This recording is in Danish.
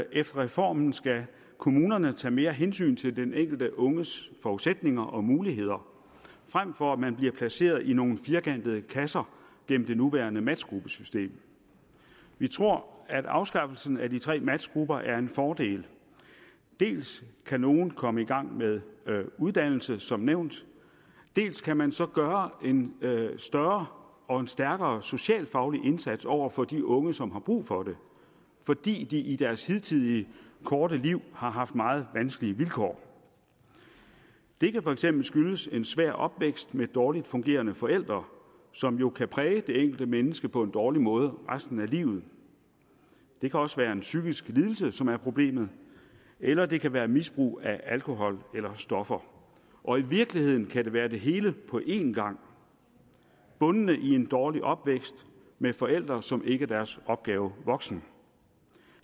efter reformen skal kommunerne tage mere hensyn til den enkelte unges forudsætninger og muligheder frem for at man bliver placeret i nogle firkantede kasser gennem det nuværende matchgruppesystem vi tror at afskaffelsen af de tre matchgrupper er en fordel dels kan nogle komme i gang med uddannelse som nævnt dels kan man så gøre en større og en stærkere socialfaglig indsats over for de unge som har brug for det fordi de i deres hidtidige korte liv har haft meget vanskelige vilkår det kan for eksempel skyldes en svær opvækst med dårligt fungerende forældre som jo kan præge det enkelte menneske på en dårlig måde resten af livet det kan også være en psykisk lidelse som er problemet eller det kan være misbrug af alkohol eller stoffer og i virkeligheden kan det være det hele på en gang bundende i en dårlig opvækst med forældre som ikke var deres opgave voksen